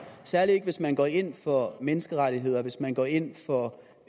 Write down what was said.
særlig ikke hvis man går ind for menneskerettigheder hvis man går ind for